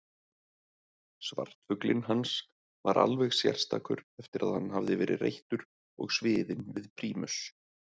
Svartfuglinn hans var alveg sérstakur eftir að hann hafði verið reyttur og sviðinn við prímus.